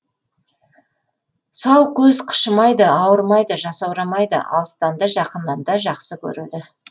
сау көз қышымайды ауырмайды жасаурамайды алыстан да жақыннан да жақсы көреді